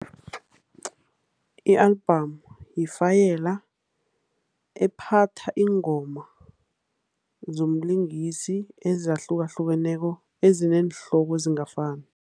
I-album yifayela ephatha iingoma zomlingisi ezahlukahlukeneko, ezineenhloko ezingafani.